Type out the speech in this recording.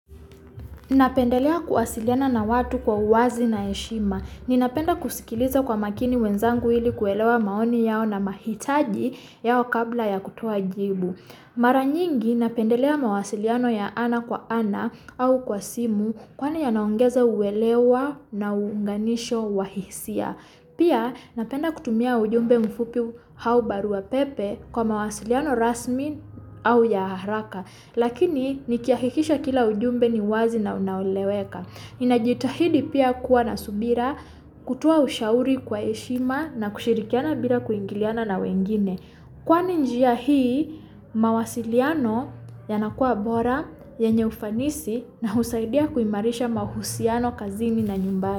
Napendelea kuwasiliana na watu kwa uwazi na eshima, ninapenda kusikiliza kwa makini wenzangu ili kuelewa maoni yao na mahitaji yao kabla ya kutuwa jibu. Mara nyingi napendelea mawasiliano ya ana kwa ana au kwa simu kwa na yanaongeza uelewa na unganisho wa hisia. Pia napenda kutumia ujumbe mfupi hau barua pepe kwa mawasiliano rasmi au ya aharaka. Lakini nikiahikisha kila ujumbe ni wazi na unnauleweka. Ninajitahidi pia kwa nasubira kutuwa ushauri kwa eshima na kushirikiana bila kuingiliana na wengini. Kwani njia hii mawasiliano yanakua bora yenye ufanisi na husaidia kwi marisha mahusiano kazini na nyumbaye.